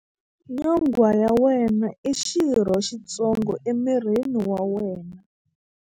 Nyonghwa ya wena i xirho xitsongo emirini wa wena.